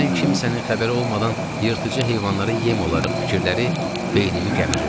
Birdən kimsənin xəbəri olmadan yırtıcı heyvanlara yem olarıq fikirləri beynimi gəmirirdi.